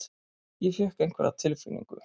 Ég fékk einhverja tilfinningu.